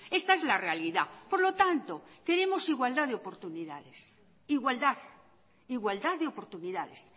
esta es la realidad por lo tanto queremos igualdad de oportunidades igualdad igualdad de oportunidades